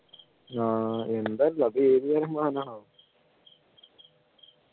ആഹ് എന്താ അറീല അത് ഏതുതരം മാനാണ് ആവോ